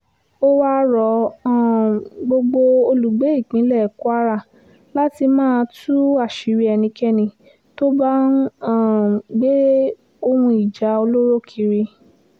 ó wáá rọ um gbogbo olùgbé ìpínlẹ̀ kwara láti máa tú àṣírí ẹnikẹ́ni tó bá ń um gbé ohun ìjà olóró kiri